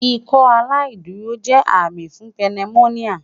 Ikọaláìdúró jẹ ami ti pneumonia